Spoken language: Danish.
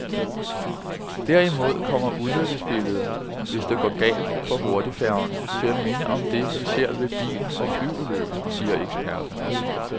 Derimod kommer ulykkesbilledet, hvis det går galt for hurtigfærgerne, til at minde om det, vi ser ved bil- og flyulykker, siger eksperterne.